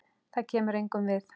Það kemur engum við.